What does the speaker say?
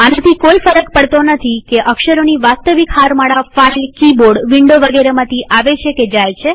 આનાથી કોઈ ફર્ક નથી પડતો કે અક્ષરોની વાસ્તવિક હારમાળાઓ ફાઈલકિબોર્ડવિન્ડો વગેરેમાંથી આવે છે કે જાય છે